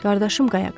Qardaşım Qayaq.